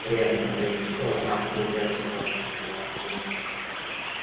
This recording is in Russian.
время от времени то одна то другая собака поднимала бунт